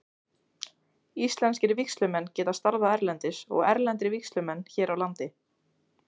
Íslenskir vígslumenn geta starfað erlendis og erlendir vígslumenn hér á landi.